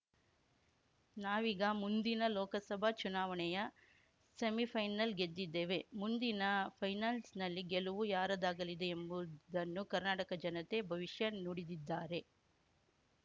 ನಾವೀಗ ಮುಂದಿನ ಲೋಕಸಭಾ ಚುನಾವಣೆಯ ಸೆಮಿಫೈನಲ್ ಗೆದ್ದಿದ್ದೇವೆ ಮುಂದಿನ ಫೈನಲ್ಸ್‌ನಲ್ಲಿ ಗೆಲುವು ಯಾರದಾಗಲಿದೆ ಎಂಬುದನ್ನು ಕರ್ನಾಟಕ ಜನತೆ ಭವಿಷ್ಯ ನುಡಿದಿದ್ದಾರೆ